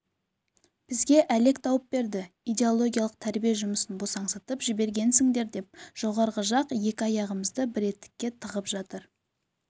бізге әлек тауып берді идеологиялық тәрбие жұмысын босаңсытып жібергенсіңдер деп жоғарғы жақ екі аяғымызды бір етікке тығып жатыр